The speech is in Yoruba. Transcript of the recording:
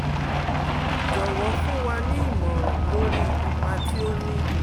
Jọ̀wọ́ fún wa ní ìmọ̀ràn lórí ipa tí ó ní